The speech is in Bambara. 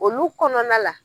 Olu kɔnɔna la